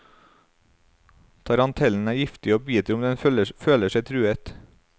Tarantellen er giftig og biter om den føler seg truet.